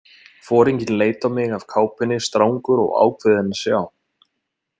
Foringinn leit á mig af kápunni, strangur og ákveðinn að sjá.